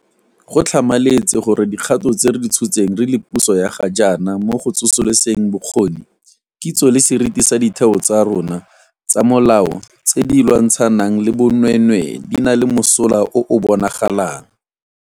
Go tlhamaletse gore dikgato tse re di tshotseng re le puso ya ga jaana mo go tsosoloseng bokgoni, kitso le seriti sa ditheo tsa rona tsa molao tse di lwantshanang le bonweenwee di na le mosola o o bonagalang.